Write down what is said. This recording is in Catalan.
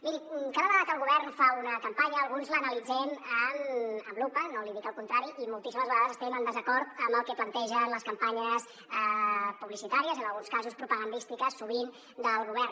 miri cada vegada que el govern fa una campanya alguns l’analitzem amb lupa no li dic el contrari i moltíssimes vegades estem en desacord amb el que plantegen les campanyes publicitàries en alguns casos propagandístiques sovint del govern